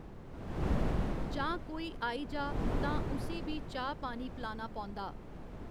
जां कोई आई जा तां उ'सी बी चाऽह् पानी पलाना पौंदा।